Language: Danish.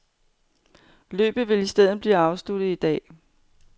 Løbet vil i stedet blive afsluttet i dag.